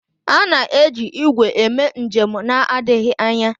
A na-eji igwe eme njem na-adịghị anya.